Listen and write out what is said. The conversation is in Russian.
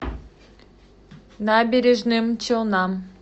набережным челнам